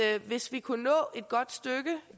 at hvis vi kunne nå et godt stykke